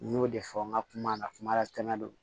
N y'o de fɔ n ka kuma na kuma latɛmɛ don